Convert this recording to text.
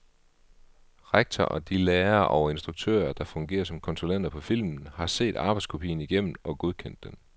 Rektor og de lærere og instruktører, der fungerer som konsulenter på filmen, har set arbejdskopien igennem og godkendt den.